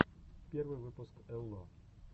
первый выпуск элло